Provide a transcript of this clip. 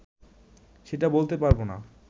সেটা বলতে পারবো না